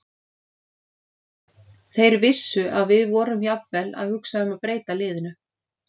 Þeir vissu að við vorum jafnvel að hugsa um að breyta liðinu.